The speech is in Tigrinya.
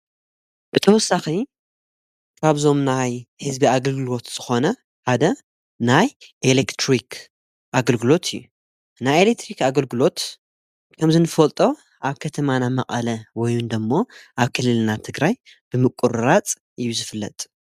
ብተወሳኺ ኻብዞም ናይ ሕዝቢ ኣገልግልዎት ዝኾነ ሓደ ናይ ኤሌክትሪኽ ኣገልግሎት እዩ። ናይ ኤሌክትሪኽ ኣገልግሎት ከም ዝንፈልጦ ኣብ ከተማና መቀለ ወይንዶ እሞ ኣብ ክልልና ትግራይ ብምቊሩራጽ ዩዝፍለጥ።